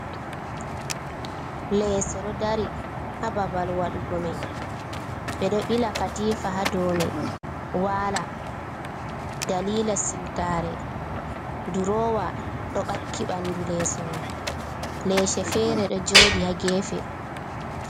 "Leeso" ɗo dari ha babal wadugo mai ɓe ɗo ɓila katifa ha ɗow mai wala dalila siwtare durowa do ɓakki ɓandu leeso mai leese fere do jodi ha gefe.